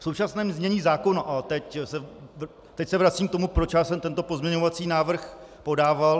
V současném znění zákona - a teď se vracím k tomu, proč já jsem tento pozměňovací návrh podával.